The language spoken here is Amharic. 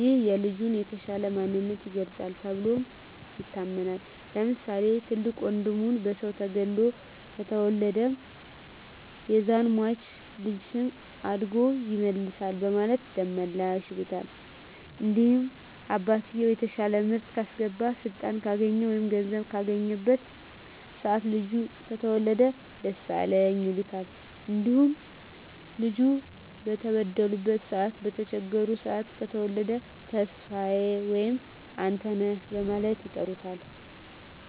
ይህም የልጁን የተሻለ ማንነት ይገልፃል ተብሎም ይታመናል። ለምሳሌ፦ ትልቅ ወንድሙ በሰዉ ተገሎበት ከተወለደ ያዛን ሟች ልጅ ደም አድጎ ይመልሳል በማለት ደመላሽ ይሉታል። እንዲሁም አባትየዉ የተሻለ ምርት ካስገባ ስልጣን ካገኘ ወይም ገንዘብ ካገኘበት ሰአት ልጁ ከተወለደ ደሳለኝ ይሉታል። እንዲሁም ልጁ በተበደሉበት ሰአት በተቸገሩበት ሰአት ከተወለደ ተስፋየ ወይም አንተነህ በማለት ይጠሩታል።